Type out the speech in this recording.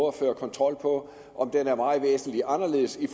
at føre kontrol på er væsentlig anderledes i